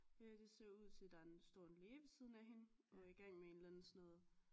Det ser ud til at der en står en læge ved siden af hende og er igang med en eller anden sådan noget